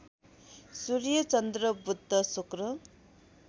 सूर्य चन्द्र बुध शुक्र